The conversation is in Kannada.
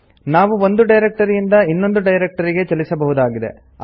ನಾವು ಒಂದು ಡೈರೆಕ್ಟರಿಯಿಂದ ಇನ್ನೊಂದು ಡೈರೆಕ್ಟರಿಗೆ ಚಲಿಸಬಹುದಾಗಿದೆ